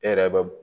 E yɛrɛ bɛ